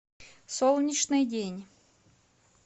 солнечный день